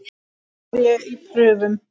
Nú er ég í prufum.